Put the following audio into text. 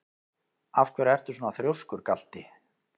Af hverju ertu svona þrjóskur, Galti?